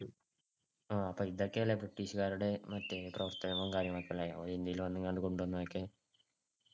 അപ്പൊ ഇതൊക്കെയാല്ലേ ബ്രിട്ടീഷ്‌ക്കാരുടെ മറ്റേ പ്രവർത്തനവും കാര്യങ്ങളും അല്ലെ ഇന്ത്യയിൽ വന്നുങ്ങാണ്ട് കൊണ്ടുവന്നതൊക്കെ.